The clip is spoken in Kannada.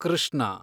ಕೃಷ್ಣ